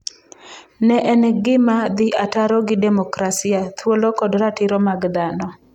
Ne en gima dhi ataro gi demokrasia, thuolo kod ratiro mag dhano.